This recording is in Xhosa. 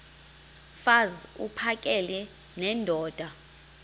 mfaz uphakele nendoda